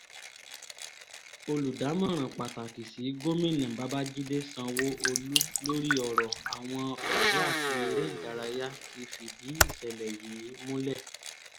oludamọnran pataki si gomina Babajide Sanwoolu lori ọrọ awọn ọdọ ati ere idaraya ti fidi isẹlẹ yii mulẹ